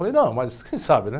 Falei, não, mas quem sabe, né?